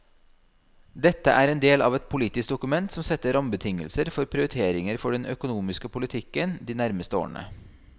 Dette er en del av et politisk dokument som setter rammebetingelser for prioriteringer for den økonomiske politikken de nærmeste årene.